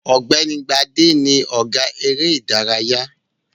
Ọ̀gbẹ́ni Gbádé ni ọ̀gá eré-ìdárayá.